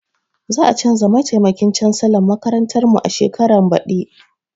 Za a canza mataimakin cansalan makarantar mu shekaran baɗi.